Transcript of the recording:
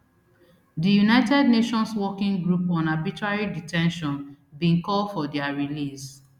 di united nations working group on arbitrary de ten tion bin call for dia release